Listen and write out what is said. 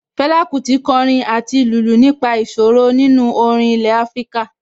Fẹlá Kútì kọrin àti lùlù nípa ìṣòro nínú orin ilẹ̀ Afíríkà